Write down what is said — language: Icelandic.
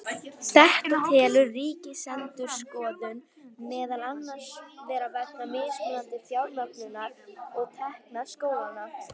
Þetta telur Ríkisendurskoðun meðal annars vera vegna mismunandi fjármögnunar og tekna skólanna.